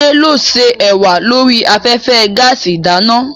Adé ló ṣé ẹ̀wà lórí afẹ́fẹ́ gaàsì ìdáná.